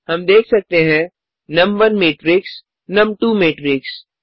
हम देख सकते हैं नुम1 मैट्रिक्स नुम2 मैट्रिक्स